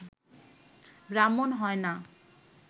ব্রাহ্মণ হয় না